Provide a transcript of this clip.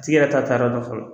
tigi yɛrɛ t'a taa yɔrɔ dɔn fɔlɔ.